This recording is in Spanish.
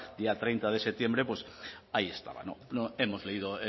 día treinta de septiembre pues ahí estaba hemos leído